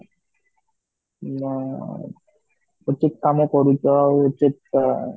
ଆଃ ଉଚିତ କାମ କରୁଛ ଆଉ ଉଚିତ ଆଁ